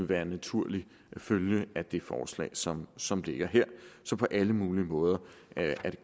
være en naturlig følge af det forslag som som ligger her så på alle mulige måder er det